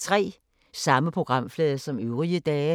Samme programflade som øvrige dage